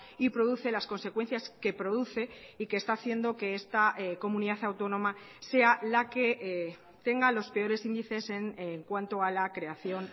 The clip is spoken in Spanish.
y produce las consecuencias que produce y que está haciendo que esta comunidad autónoma sea la que tenga los peores índices en cuanto a la creación